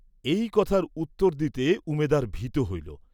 এই কথার উত্তর দিতে উমেদার ভীত হইল।